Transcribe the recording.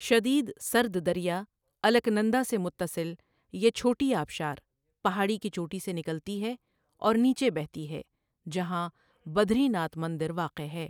شدیٖد سرد دریا الکنندا سے متصل یہ چھوٹی آبشار پہاڑی کی چوٹی سے نکلتی ہے اور نیچے بہتی ہے جہاں بدری ناتھ مندر واقع ہے۔